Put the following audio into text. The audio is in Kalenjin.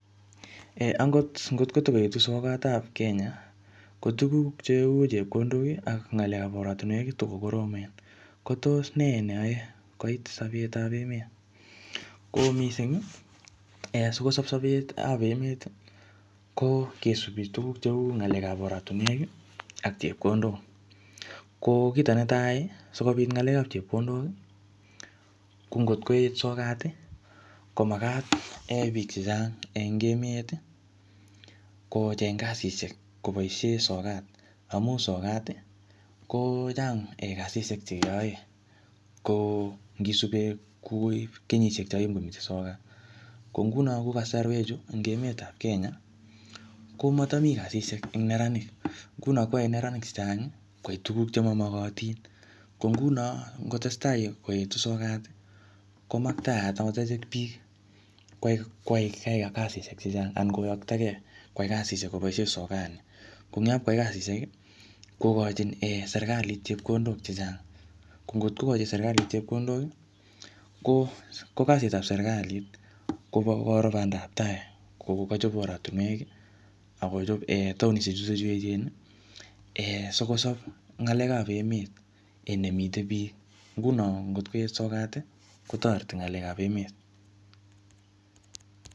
Ee angot ngotkotoketu soketab Kenya kotugug cheu chepkondok ak ngalekap oratinwek kotokokoromen kotos nee neyoe koit sopetab emet ko mising ii sikosopcho biikab emeti ko kosubi tuguk cheu ngalekap oratinwek ii ak chepkondok ko kitonetai sikopit ngalekap chepkondok kongotkoet sokati komakat kebit biik chechang en emeti kocheng kasishek koboishen sokat amun sokati kochang kasishek chekeyoen ko ngisupen kou kenyishek chon kimomiten sokat ko ngunon en kosorwechu emetab Kenya komotomi kasishek en neranik ngunon koyoe neranik chechangi koyai tuguk chemomokotin ko ngunon ngot testa koetu sokati komaktayat akot echek biik keyai kasishek chechang anan koyoktokee anan koyoktokee koyai kasishek koboishen sokat nii konyop koyai kasishek kokochin serkalit chepkondok chechang ko ngotko kochin serkalit chepkondok ko kasitab serkalit kwokoro bandab taai ngokochobe oratinwek okochobe taonishek chuton chuu echeni sikosop ngalekap emet en elemiten biik ngunon ngot koet sokati kotoreti ngalekap emet